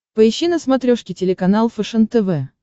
поищи на смотрешке телеканал фэшен тв